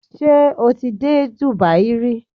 Ṣé o ti dé Dubai rí?